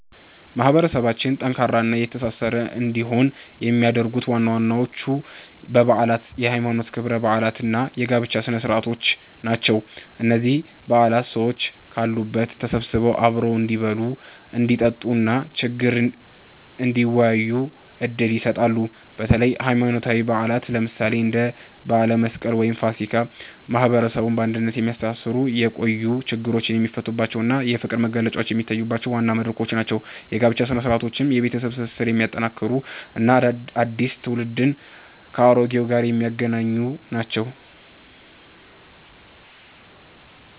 ማህበረሰባችን ጠንካራና የተሳሰረ እንዲሆን የሚያደርጉት ዋናዎቹ በዓላት የሃይማኖት ክብረ በዓላት እና የጋብቻ ስነ-ስርዓቶች ናቸው። እነዚህ በዓላት ሰዎች ካሉበት ተሰብስበው አብረው እንዲበሉ፣ እንዲጠጡ እና ችግር እንዲወያዩ ዕድል ይሰጣሉ። በተለይም ሃይማኖታዊ በዓላት፣ ለምሳሌ እንደ በዓለ መስቀል ወይም ፋሲካ፣ ማህበረሰቡን በአንድነት የሚያስተሳስሩበት፣ የቆዩ ችግሮች የሚፈቱበት እና የፍቅር መግለጫዎች የሚታዩበት ዋና መድረኮች ናቸው። የጋብቻ ሥነ-ስርዓቶችም የቤተሰብ ትስስርን የሚያጠናክሩ እና አዲስ ትውልድን ከአሮጌው ጋር የሚያገናኙ ናቸው።